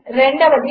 2